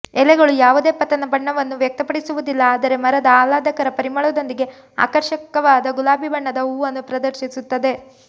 ಎಲೆಗಳು ಯಾವುದೇ ಪತನ ಬಣ್ಣವನ್ನು ವ್ಯಕ್ತಪಡಿಸುವುದಿಲ್ಲ ಆದರೆ ಮರದ ಆಹ್ಲಾದಕರ ಪರಿಮಳದೊಂದಿಗೆ ಆಕರ್ಷಕವಾದ ಗುಲಾಬಿ ಬಣ್ಣದ ಹೂವನ್ನು ಪ್ರದರ್ಶಿಸುತ್ತದೆ